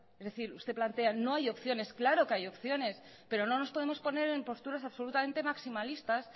es decir no hay opciones claro que hay opciones pero no nos podemos poner en posturas absolutamente maximalistas